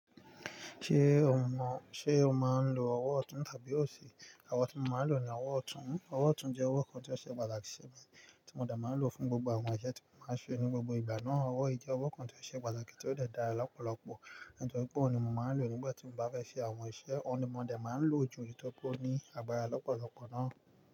Ṣé o mọ̀, ṣe o máa ń lo ọwọ́ ọ̀tún tàbí òsì? Ọwọ́ tí mo máa ń lò ni ọwọ́ ọ̀tún. Ọwọ́ ọ̀tún jẹ́ ọwọ́ kan tí ó ṣe pàtàkì sí mi, tí mo de máa ń lò fún gbogbo àwọn iṣẹ́ tí mo máa ń ṣe ní gbogbo ìgbà náà. Ọwọ́ yi je ọwọ́ kan tí ó ṣe pàtàkì tí ó de dára lọ́pọ̀lọ́pọ̀, nítorí pé òun ni mo máa ń lò nígbà tí mo bá fẹ́ ṣe àwọn iṣẹ́. Òun ni mo de máa ń lò ju nitori pe ó ní agbára lọ́pọ̀lọ́pọ̀ náà.